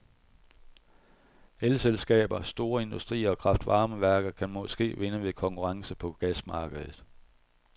Elselskaber, store industrier og kraftvarmeværker kan måske vinde ved konkurrence på gasmarkedet.